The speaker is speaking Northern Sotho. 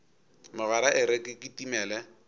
mogwera e re ke kitimele